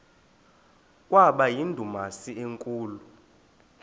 kwaba yindumasi enkulu